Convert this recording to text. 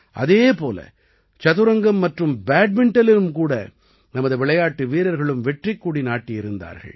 அதே போல சதுரங்கம் மற்றும் பேட்மிண்டனிலும் கூட நமது விளையாட்டு வீரர்களும் வெற்றிக் கொடி நாட்டியிருந்தார்கள்